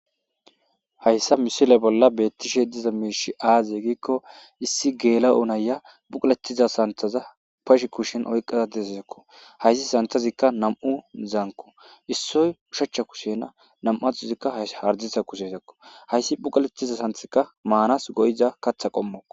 Hayssa misile bolla beetishe diza miishi aaze giko issi geela'o na'iya bukuletiza santheza bashe kushen oyqada de'izako hayssi santhezika nam'uzanko issoy oshachcha kushena nam'anthozika hayssa hardirssa kushenako hayssi bukaletiza santhezika maanas go'iza kaththa qommoko.